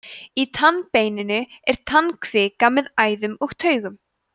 í tannbeininu er tannkvika með æðum og taugum